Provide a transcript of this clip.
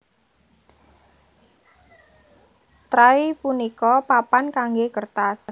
Tray punika papan kanggé kertas